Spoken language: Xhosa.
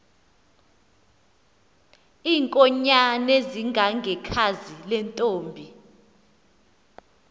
iinkonyan ezingangekhazi lentomb